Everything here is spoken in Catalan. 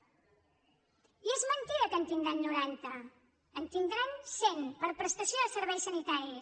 i és mentida que en tindran noranta en tindran cent per a prestació de serveis sanitaris